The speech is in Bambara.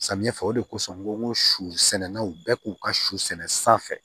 Samiya fɛ o de kosɔn n ko n ko susɛnnaw bɛ k'u ka su sɛnɛ sanfɛ